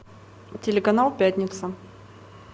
телеканал пятница